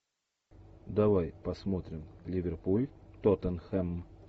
давай посмотрим ливерпуль тоттенхэм